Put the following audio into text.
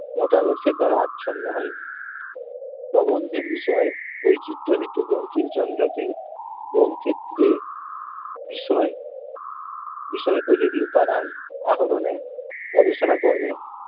মতাদর্শের দ্বারা আচ্ছন্ন হয়নি। প্রবন্ধের বিষয়ে বৈচিত্র্য হেতু বঙ্কিমচন্দ্রকে বহুক্ষেত্রে বিষয় বিষয়পোযোগী উপাদান আহরণে গবেষণা কর্মে